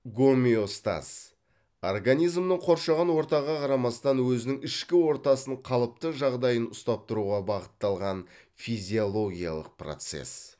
гомеостаз организмнің қоршаған ортаға қарамастан өзінің ішкі ортасын қалыпты жағдайын ұстап тұруға бағытталған физиологиялық процесс